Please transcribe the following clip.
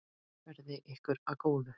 Verði ykkur að góðu.